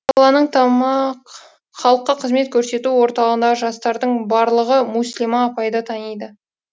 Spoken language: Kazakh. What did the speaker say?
халыққа қызмет көрсету орталығындағы жастардың барлығы мүслима апайды таниды